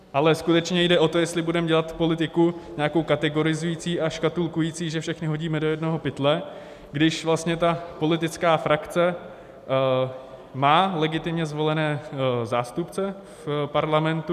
Ale skutečně jde o to, jestli budeme dělat politiku nějakou kategorizující a škatulkující, že všechny hodíme do jednoho pytle, když vlastně ta politická frakce má legitimně zvolené zástupce v parlamentu.